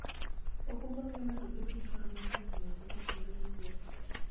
okumba miyo ng'ato bedo gi paro mokuwe kuom weche motudore gi wuoth.